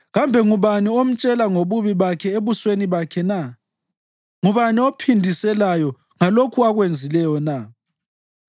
Kambe ngubani omtshela ngobubi bakhe ebusweni bakhe na? Ngubani ophindiselayo ngalokho akwenzileyo na?